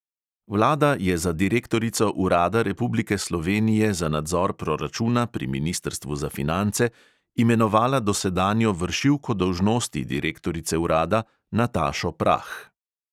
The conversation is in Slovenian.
Vlada je za direktorico urada republike slovenije za nadzor proračuna pri ministrstvu za finance imenovala dosedanjo vršilko dolžnosti direktorice urada natašo prah.